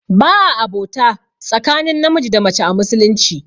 Ba a abota tsakanin namiji da mace a musulunci